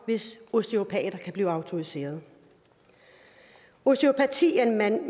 hvis osteopater kan blive autoriseret osteopati er en manuel